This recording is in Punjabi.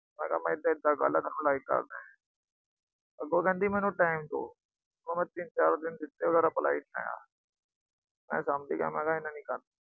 ਮੈਂ ਕਿਹਾ ਏਦਾ ਏਦਾ ਗੱਲ ਏ, ਮੈਂ ਤੈਨੂੰ like ਕਰਦਾ। ਅੱਗੋ ਕਹਿੰਦੀ, ਮੈਨੂੰ time ਦੋ। ਮੈਂ ਤਿੰਨ-ਚਾਰ ਦਿਨ ਦਿੱਤੇ, reply ਨੀ ਆਇਆ। ਮੈਂ ਸਮਝ ਗਿਆ ਵੀ ਇਹਨੇ ਨੀ ਕਰਨੀ।